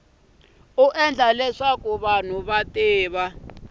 endla leswaku vanhu va tiva